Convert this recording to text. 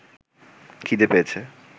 খিদে পেয়েছে